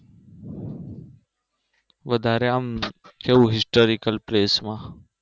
વધારે આમ કેવું Historical Place માં